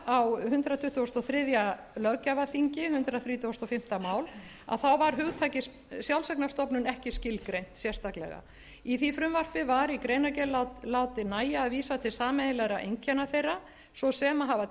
á hundrað tuttugasta og þriðja löggjafarþingi hundrað þrítugasta og fimmta mál var hugtakið sjálfseignarstofnun ekki skilgreint sérstaklega í því frumvarpi var í greinargerð látið nægja að vísa til sameiginlegra einkenna þeirra svo sem að hafa